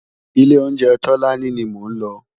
Ilé óunjé Tolani ni mó n lò